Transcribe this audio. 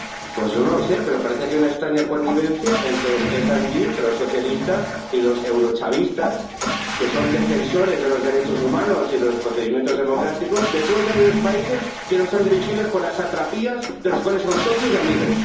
Pues yo no lo sé, pero parece que hay una extraña connivencia entre los socialistas y los eurochavistas, que son defensores de los derechos humanos y de los procedimientos democráticos de todos aquellos países que no están dirigidos por las satrapías, de las cuales son socios y amigos.